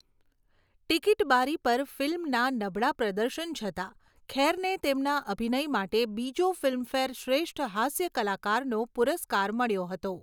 Ticket બારી પર ફિલ્મના નબળા પ્રદર્શન છતાં, ખેરને તેમના અભિનય માટે બીજો ફિલ્મફેર શ્રેષ્ઠ હાસ્ય કલાકારનો પુરસ્કાર મળ્યો હતો.